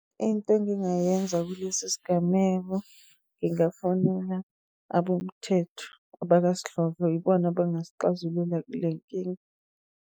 Into engingayenza kulesi sigameko, ngingafonela abomthetho abakwasidlodlo. Ibona abangasixazulula kule nkinga.